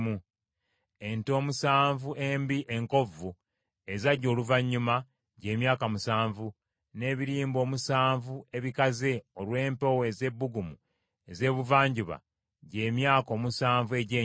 Ente omusanvu embi enkovvu ezajja oluvannyuma, gy’emyaka musanvu, n’ebirimba omusanvu ebikaze olw’empewo ez’ebbugumu ez’ebuvanjuba gy’emyaka omusanvu egy’enjala.